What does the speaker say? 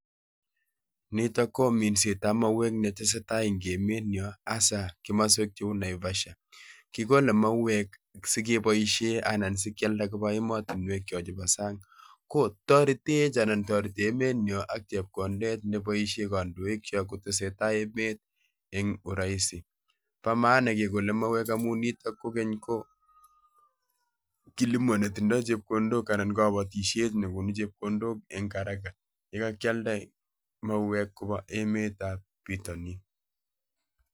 Nitok ko minset ab mauek ne tesetai en emenyo asa komoswek cheu Naivasha. Kigole mauek sigeboisie anan sikyalda koba emotinwek choton bo sang'.Ko toretech anan toreti emenyon ak chepkondet neboisien kandoikyok kotesetai emet en uraisi. Bo maana kegole mauek amu nitok kogeny ko kilimo netindo chepkondok anan ko kabatisiet nekonu chepkondok en haraka yekakyalda mauek kobaa emet ab bitonin.